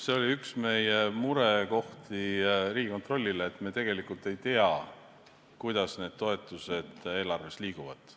See oli üks meie murekohti, mida me ütlesime Riigikontrollile, et me tegelikult ei tea, kuidas need toetused eelarves liiguvad.